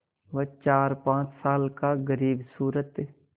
वह चारपाँच साल का ग़रीबसूरत